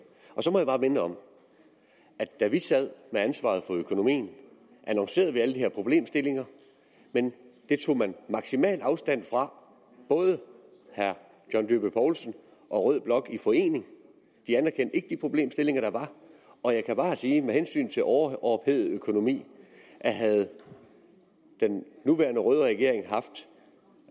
så må jeg bare minde om at da vi sad med ansvaret for økonomien annoncerede vi alle de her problemstillinger men det tog man maksimal afstand fra både herre john dyrby paulsen og rød blok i forening de anerkendte ikke de problemstillinger der var og jeg kan bare sige med hensyn til overophedet økonomi at havde den nuværende røde regering haft